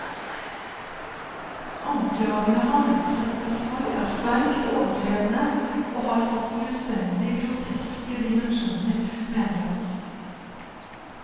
Anklagene han utsettes for, er sterkt overdrevne og har fått fullstendig groteske dimensjoner, mener han.